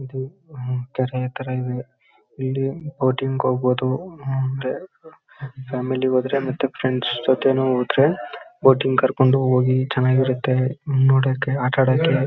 ಇದು ಕೆರೆ ತರ ಇದೆ ಇಲ್ಲಿ ಬೋಟಿಂಗ್ ಹೋಗ್ಬಹುದು ಹಮ್ಮ್ ಅಂದ್ರೆ ಫ್ಯಾಮಿಲಿನು ಹೋದ್ರೆ ಮತ್ತೆ ಫ್ರೆಂಡ್ಸ್ ಜೊತೆನೂ ಹೋದ್ರೆ ಬೋಟಿಂಗ್ ಕರ್ಕಂಡ್ ಹೋಗಿ ಚೆನ್ನಾಗಿರುತ್ತೆ ಹಮ್ಮ್ ನೋಡಕ್ಕೆ ಆಟ ಆಡಕ್ಕೆ.